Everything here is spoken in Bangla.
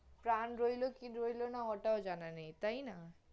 প্রাণ রইল কি রইলনা ওটাও, তাই না?